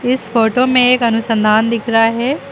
इस फोटो में एक अनुसंधान दिख रहा है।